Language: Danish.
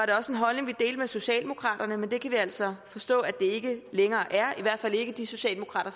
det også en holdning vi delte med socialdemokraterne men det kan vi altså forstå at det ikke længere er i hvert fald ikke de socialdemokrater